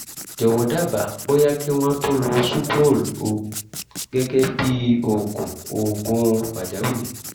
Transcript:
jọ̀wọ́ dábàá bóyá kí wọ́n tún lo sucrol o gẹ́gẹ́ bíi oògùn oògùn pàjáwìrì